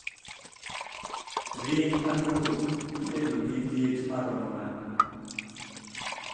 ring anguroitedo gi let maromo nade